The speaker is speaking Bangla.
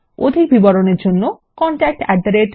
অধিক বিবরণের জন্য contactspoken tutorialorg তে ইমেল করুন